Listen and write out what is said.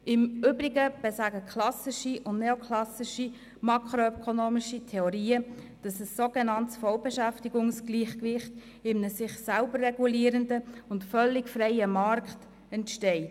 Im Übrigen besagen klassische und neoklassische makroökonomische Theorien, dass ein sogenanntes Vollbeschäftigungsgleichgewicht in einem sich selber regulierenden und völlig freien Markt entsteht.